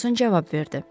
Ferqquson cavab verdi.